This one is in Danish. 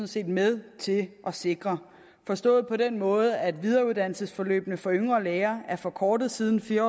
set med til at sikre forstået på den måde at videreuddannelsesforløbene for yngre læger er forkortet siden fire